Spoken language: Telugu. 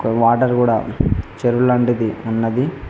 వాటర్ కూడా చెరువు లాంటిది ఉన్నది.